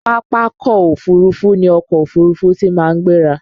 Pápákọ̀ Òfurufú ni ọkọ̀ òfuurufú tí màá ń gbéra